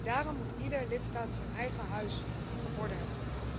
Daarom moet iedere lidstaat zijn eigen huis op orde hebben.